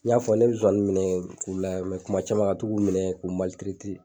N y'a fɔ ne mɛ zozani k'u layɛ kuma caman ka to k'u minɛ k'u